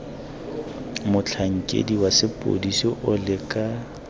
motlhankedi wa sepodisi o leka